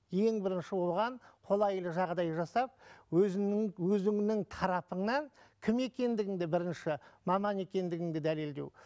ең бірінші оған қолайлы жағдай жасап өзіңнің өзіңнің тарапыңнан кім екендігіңді бірінші маман екендігіңді дәлелдеу